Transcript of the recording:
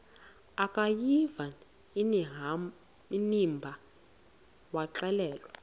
akuyiva inimba waxelela